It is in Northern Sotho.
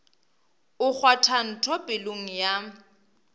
o kgwatha ntho pelong ya